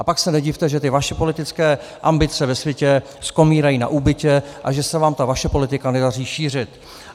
A pak se nedivte, že ty vaše politické ambice ve světě skomírají na úbytě a že se vám ta vaše politika nedaří šířit.